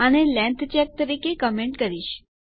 આને length check તરીકે comment કરીશ